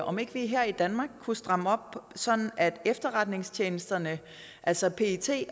om ikke vi her i danmark kunne stramme op sådan at efterretningstjenesterne altså pet